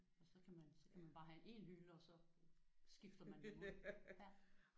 Og så kan man så kan man bare have én hylde og så skifter man dem ud